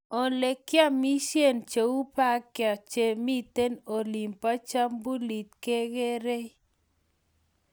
olegiamishen cheu Berke chemiten olin bo chembulet kegeerei